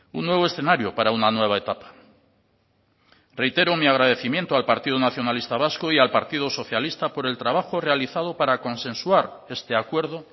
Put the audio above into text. un nuevo escenario para una nueva etapa reitero mi agradecimiento al partido nacionalista vasco y al partido socialista por el trabajo realizado para consensuar este acuerdo